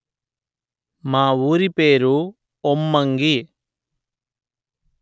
మా ఊరి పేరు ఒమ్మంగి